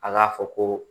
A k'a fɔ ko